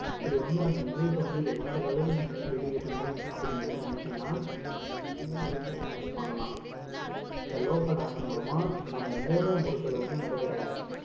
இப்படி வந்து அந்த news அ வந்து எல்லார் வெளியிடணும் அப்படின்னு வந்து நினைச்சோம்னா அஹ் இந்த மாதிரி வந்து நம்மளால பண்ணலாம் இந்த local app மூலமா நம்ம மூலை முடுக்குல வந்து நடக்கிற